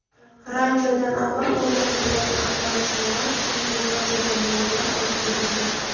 Ranchodan avval o‘rnatilgan attraksionlar, shuningdek ba’zi jonivorlar olib ketilgan.